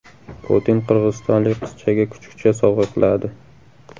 Putin qirg‘izistonlik qizchaga kuchukcha sovg‘a qiladi.